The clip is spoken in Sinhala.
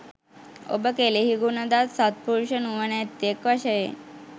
ඔබ කෙලෙහිගුණ දත් සත්පුරුෂ නුවණැත්තෙක් වශයෙන්